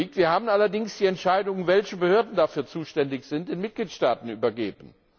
Wir haben allerdings die Entscheidung, welche Behörden dafür zuständig sind, den Mitgliedstaaten überlassen.